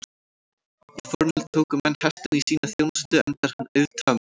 Í fornöld tóku menn hestinn í sína þjónustu enda er hann auðtaminn.